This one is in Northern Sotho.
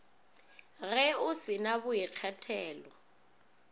ge o se na boikgethelo